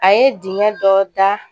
A ye dingɛ dɔ da